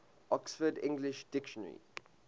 oxford english dictionary